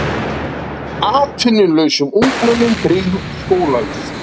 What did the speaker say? Atvinnulausum ungmennum tryggð skólavist